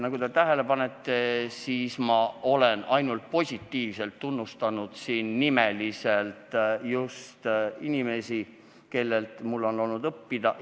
Nagu te tähele panete, siis ma olen ainult positiivselt tunnustanud siin nimeliselt inimesi, kellelt mul on olnud õppida.